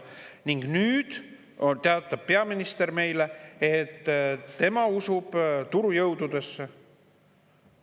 Aga nüüd teatab peaminister meile, et tema usub turujõududesse.